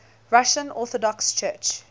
russian orthodox church